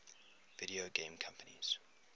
video game companies